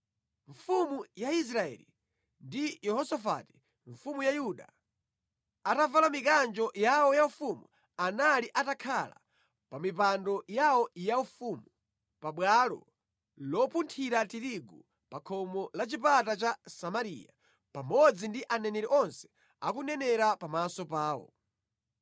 Mfumu ya Israeli ndi Yehosafati mfumu ya Yuda, atavala mikanjo yawo yaufumu anali atakhala pa mipando yawo yaufumu pabwalo lopunthira tirigu pa khomo la chipata cha Samariya, pamodzi ndi aneneri onse akunenera pamaso pawo.